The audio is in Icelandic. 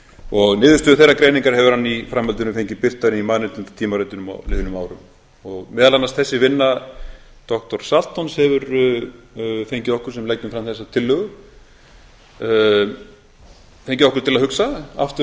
og tvö niðurstöður þeirrar greiningar hefur hann í framhaldinu fengið birtar í mannréttindatímaritum á liðnum árum meðal annars þessi vinna doktor saltons hefur fengið okkur sem leggjum fram þessa tillögu hefur fengið okkur til að hugsa aftur um þetta